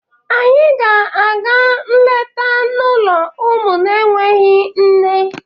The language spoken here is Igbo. Anyị ga-aga nleta n'ụlọ ụmụ na-enweghị nne.